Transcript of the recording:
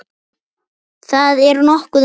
Það er nokkuð magnað.